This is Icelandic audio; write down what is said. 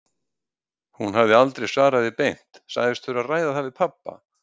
Hún hafði aldrei svarað því beint, sagðist þurfa að ræða það við pabba.